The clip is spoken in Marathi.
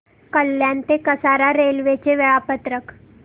कल्याण ते कसारा रेल्वे चे वेळापत्रक